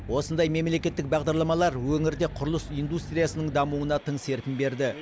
осындай мемлекеттік бағдарламалар өңірде құрылыс индустриясының дамуына тың серпін берді